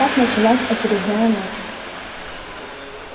так началась очередная ночь